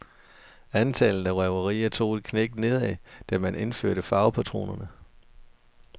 Antallet af røverier tog et knæk nedad, da man indførte farvepatroner.